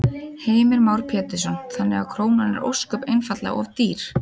Heimir Már Pétursson: Þannig að krónan er ósköp einfaldlega of dýr?